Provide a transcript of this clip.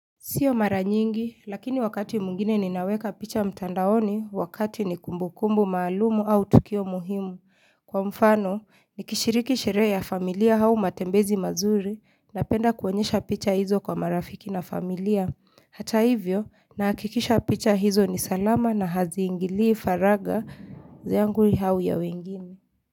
Sio mara nyingi, lakini wakati mwngine ninaweka picha mtandaoni wakati ni kumbukumbu maalumu au tukio muhimu. Kwa mfano, nikishiriki sherehe ya familia hau matembezi mazuri napenda kuonyesha picha hizo kwa marafiki na familia. Hata hivyo, nahakikisha picha hizo ni salama na haziingilii faragha yangu hau ya wengine.